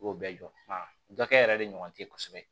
I y'o bɛɛ jɔ wa dɔ kɛ yɛrɛ de ɲɔgɔn tɛ ye kosɛbɛ